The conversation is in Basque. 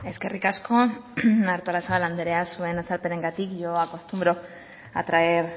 eskerrik asko artolazabal andrea zure azalpenarengatik yo acostumbro a traer